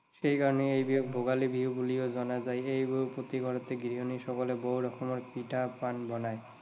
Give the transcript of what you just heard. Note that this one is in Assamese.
সেইকাৰণে এই বিহুক ভোগালী বিহু বুলিও জনা যায়। এই বিহুত প্ৰতি ঘৰতেই গৃহিণী সকলে বহু ৰকমৰ পিঠা পনা বনায়।